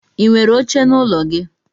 Inwere oche n'ụlọ gi?